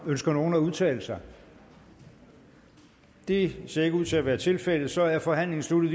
ønsker nogen at udtale sig det ser ikke ud til at være tilfældet så er forhandlingen sluttet